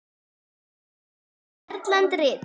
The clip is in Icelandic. Erlend rit